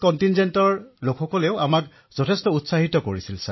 বাকী দলৰ লোকসকলেও আমাক উৎসাহিত কৰিছিল